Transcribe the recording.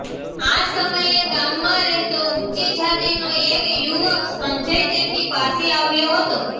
આ સમયે ગામમાં રહેતો ઉંચી જાતીનો એક યુવક સંજય તેમની પાસે આવ્યો હતો